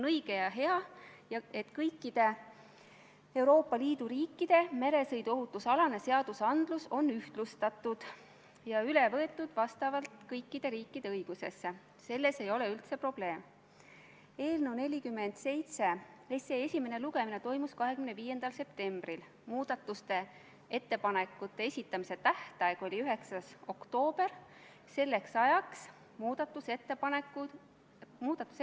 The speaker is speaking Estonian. Üheksas päevakorrapunkt on Vabariigi Valitsuse esitatud Riigikogu otsuse "Kaitseväe kasutamise tähtaja pikendamine Eesti riigi rahvusvaheliste kohustuste täitmisel Euroopa Liidu väljaõppemissioonil ja ÜRO rahutagamismissioonil Malis" eelnõu 70 teine lugemine.